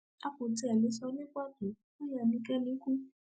a kò tí ì lè sọ ní pàtó bóyá ẹnikẹni kú